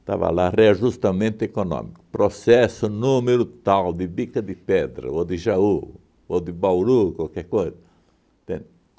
Estava lá, reajustamento econômico, processo número tal de Bica de Pedra, ou de Jaú, ou de Bauru, qualquer coisa, entende?